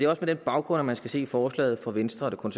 også på den baggrund at man skal se forslaget fra venstre og